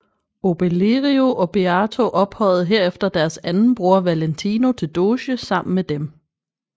Obelerio og Beato ophøjede herefter deres anden bror Valentino til doge sammen med dem